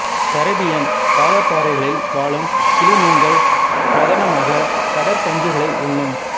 Caribbean பவளப்பாறைகளில் வாழும் கிளி மீன்கள் பிரதானமாக கடற்பஞ்சுக்களை உண்ணும்